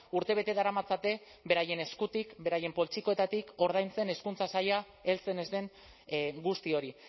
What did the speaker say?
urtebete daramatzate beraien eskutik beraien poltsikoetatik ordaintzen hezkuntza saila heltzen ez den guzti hori